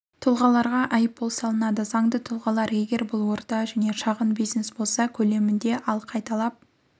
тұлғаларға айыппұл салынады заңды тұлғалар егер бұл орта және шағын бизнес болса көлемінде ал қайталап